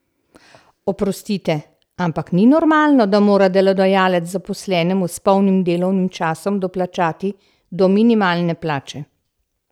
Oprostite, ampak ni normalno, da mora delodajalec zaposlenemu s polnim delovnim časom doplačati do minimalne plače!